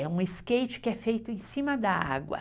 É um skate que é feito em cima da água.